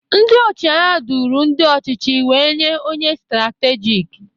Ndị ọchịagha duru ndị ọchịchị wee nye onye ndu stratejik.